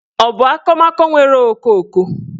Ọ bụ akụmakụ nwere okooko?